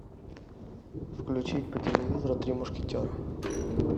включи по телевизору три мушкетера